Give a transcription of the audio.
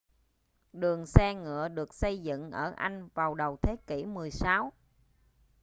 đường xe ngựa được xây dựng ở anh vào đầu thế kỷ 16